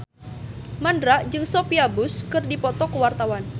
Mandra jeung Sophia Bush keur dipoto ku wartawan